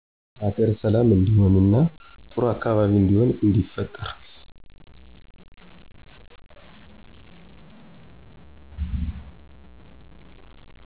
ሀገር ሠላም እንዲሆን እና ጥሩ አካባቢ እንዲሆን እንዲፈጠር